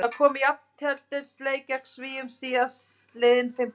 Það kom í jafnteflisleik gegn Svíum síðastliðinn fimmtudag.